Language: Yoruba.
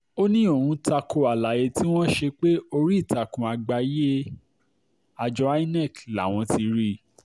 ó ní òun ta ko àlàyé tí wọ́n ṣe pé orí ìtàkùn àgbáyé àjọ inec làwọn ti rí i